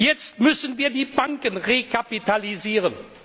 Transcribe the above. Jetzt müssen wir die Banken rekapitalisieren.